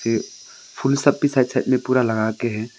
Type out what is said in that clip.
ये फूल सब भी साइड साइड में पूरा लगा के है।